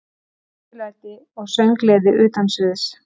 Drykkjulæti og sönggleði utan sviðs.